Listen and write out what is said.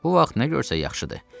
Bu vaxt nə görsək yaxşıdır.